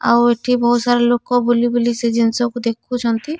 ଆଉ ଏଠି ବହୁତ ସାରା ଲୋକ ବୁଲି ବୁଲି ସେ ଜିନିଷକୁ ଦେଖୁଛନ୍ତି।